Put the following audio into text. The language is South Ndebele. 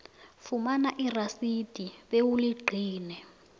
fumana irasidi bewuligcine